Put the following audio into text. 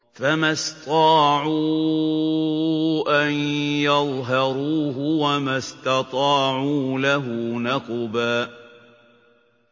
فَمَا اسْطَاعُوا أَن يَظْهَرُوهُ وَمَا اسْتَطَاعُوا لَهُ نَقْبًا